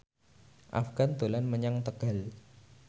Afgan dolan menyang Tegal